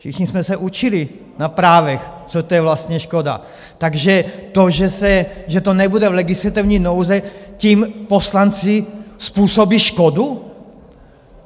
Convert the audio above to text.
Všichni jsme se učili na právech, co to je vlastně škoda, takže to, že to nebude v legislativní nouzi, tím poslanci způsobí škodu?